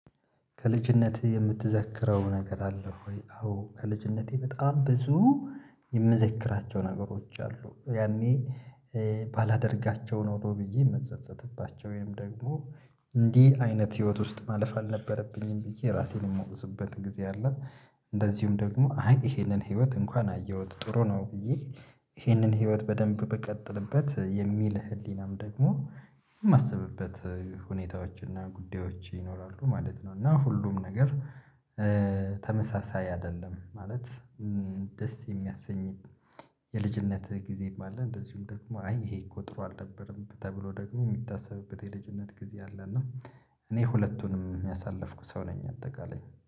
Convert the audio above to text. ከልጅነትህ የምትዘክረው ነገር አለ ወይ? አዎ ከልጅነቴ በጣም ብዙ የምዘክራቸው ነገሮች አሉ። ያኔ ባላደርጋቸው ነው ብዬ የምጸጸትባቸው ወይም ደግሞ እንዲህ አይነት ህይወት ውስጥ ማለፍ አልነበረብኝም ብዬ ራሴን የማውቅስበት ጊዜ አለ። እንደዚሁም ደግሞ አይ ይሄንን ህይወት እንኳን አየሁት ጥሩ ነው ብዬ። ይህንን ህይወት በደንብ ብቀጥልበት የሚል ህሊናም ደግሞ የማስብበት ሁኔታዎች እና ጉዳዮች ይኖራሉ ማለት ነው። እና ሁሉም ነገር ተመሳሳይ አይደለም ማለት። ደስ የሚያሰኝ የልጅነት ጊዜም አለ። እንደዚሁም ደግሞ አይ ይሄ እኮ ጥሩ አልነበረም ተብሎ ደግሞ የሚታሰብበት የልጅነት ጊዜ አለ። እና እኔ ሁለቱንም ያሳለፍኩ ሰው ነኝ አጠቃላይ